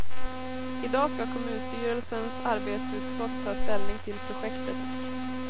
I dag skall kommunstyrelsens arbetsutskott ta ställning till projektet.